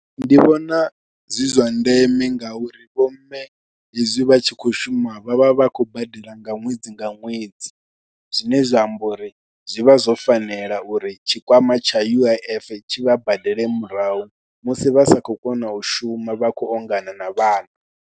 Ndi vhona zwi zwa ndeme ngauri vhomme hezwi vha tshi khou shuma vha vha vha khou badela nga ṅwedzi nga ṅwedzi zwine zwa amba uri zwi vha zwo fanela uri tshikwama tsha U_I_F tshi vha badele murahu musi vha sa khou kona u shuma, vha khou ongana na vhana.